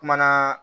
Kumana